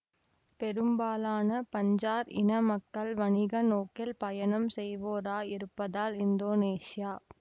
பெரும்பாலான பஞ்சார் இன மக்கள் வணிக நோக்கில் பயணம் செய்வோராயிருப்பதால் இந்தோனேசியா